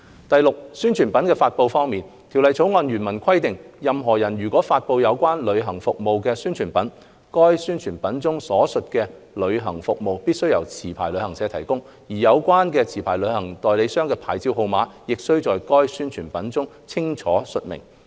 第六，宣傳品的發布方面，《條例草案》原文規定，任何人如發布有關旅行服務的宣傳品，該宣傳品中所述的旅行服務必須由持牌旅行社提供，而有關持牌旅行代理商的牌照號碼，亦須在該宣傳品中清楚述明。